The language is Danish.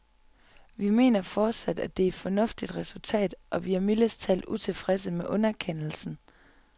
Vi mener fortsat, at det er et fornuftigt resultat, og vi er mildest talt utilfredse med underkendelsen.